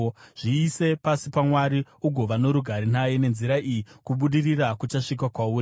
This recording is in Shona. “Zviise pasi paMwari ugova norugare naye, nenzira iyi kubudirira kuchasvika kwauri.